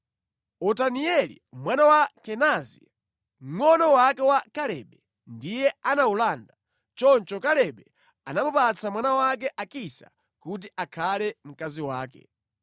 Otanieli mwana wa Kenazi, mngʼono wake wa Kalebe, ndiye anawulanda. Choncho Kalebe anamupatsa mwana wake Akisa kuti akhale mkazi wake.